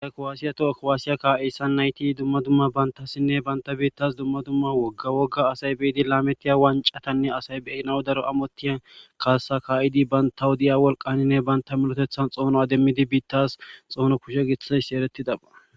Asy kowaasiya toha kowaasiya ka'eyssan nayti dumma dumma bantassinne banta biittas dumma dumma wogga wogga asay biidi laametiya wancatanne asay beyinaw daro amottiyan kaassa ka'idi banta hodiya wolqaninne banta milotethan xoono demmidi biittas xoono kushe gissas eretidaba.